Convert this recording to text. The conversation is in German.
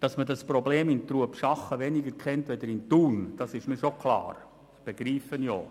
Dass man dieses Problem in Trubschachen weniger kennt als in Thun, ist mir klar, und das verstehe ich auch.